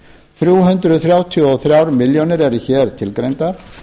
þrjú hundruð þrjátíu og þrjár milljónir eru hér tilgreindar